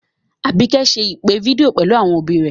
Àbíkẹ́ ṣe ìpè fídíò pẹ̀lú àwọn òbí rẹ̀